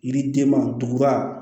Yiridenman duguba